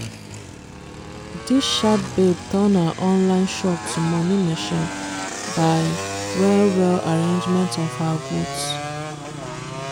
dis sharp babe turn her online shop to money machine! by well well arrangement of her goods.